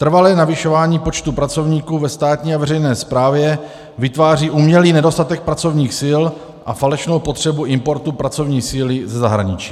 Trvalé navyšování počtu pracovníků ve státní a veřejné správě vytváří umělý nedostatek pracovních sil a falešnou potřebu importu pracovní síly ze zahraničí.